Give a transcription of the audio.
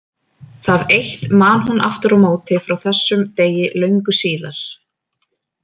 Það eitt man hún aftur á móti frá þessum degi löngu síðar.